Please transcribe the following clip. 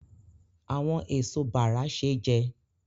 Àwọn èso bàrà ṣé jẹ